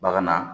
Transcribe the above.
Bagan na